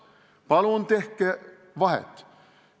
Palun tehke vahet!